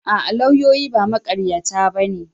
A'a, lauyoyi ba maƙaryata ba ne.